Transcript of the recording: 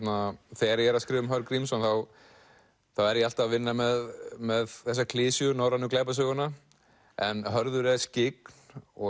þegar ég er að skrifa um Hörð Grímsson er ég alltaf að vinna með með þessa klisju norrænu glæpasöguna en Hörður er skyggn og